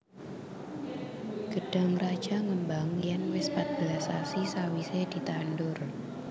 Gedhang raja ngembang yen wis patbelas sasi sawise ditandur